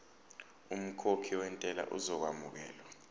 umkhokhi wentela uzokwamukelwa